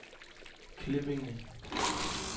Klippinge